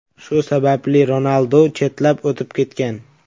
Shu sababli Ronaldu chetlab o‘tib ketgan.